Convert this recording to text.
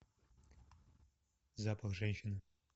запах женщины